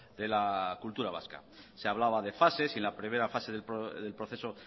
de la cultura vasca se hablaba de fases y en la primera fase del proceso